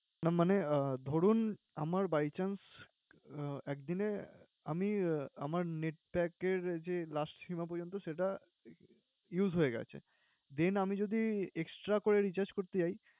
না মানে আহ ধরুন, আমার by chance আহ একদিনে আমি আহ আমার net pack এর যে last সিমা পর্যন্ত সেটা use হয়ে গেছে। Then আমি যদি extra করে recharge করতে যাই